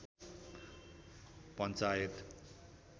panchayat